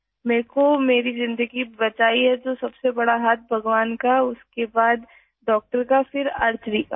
میرے لئے میری زندگی بچائی ہے تو سب سے بڑا ہاتھ بھگوان کا ، اس کے بعد ڈاکٹر کا اور پھر آرچری کا